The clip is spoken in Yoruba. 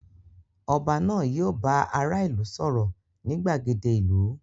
Oba náà yio bá ará ìlú sòrò ni gbàgede ìlú